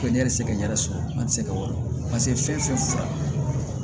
Ko ne yɛrɛ tɛ se ka yɛrɛ sɔrɔ an tɛ se ka wari fɛn fɛn fɔ